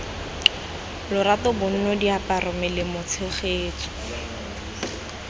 lorato bonno diaparo melemo tshegetso